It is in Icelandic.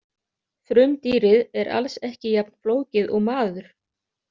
Frumdýrið er alls ekki jafn flókið og maður.